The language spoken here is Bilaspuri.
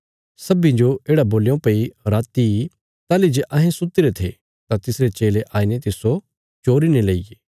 सब्बीं जो येढ़ा बोल्यों भई राति ताहली जे अहें सुत्तीरे थे तां तिसरे चेले आईने तिस्सो चोरी ने लेईये